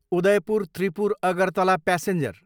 Udaipur Tripura, Agartala passenger